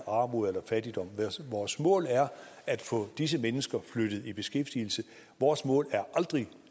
armod eller fattigdom vores mål er at få disse mennesker flyttet i beskæftigelse vores mål er aldrig